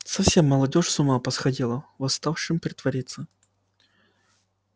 совсем молодёжь с ума посходила восставшим притворился